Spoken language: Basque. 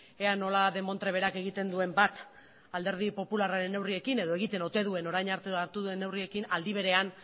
ea nola demontre berak egiten duen bat alderdi popularraren neurriekin edo egiten ote duen orain arte hartu duen neurriekin aldi berean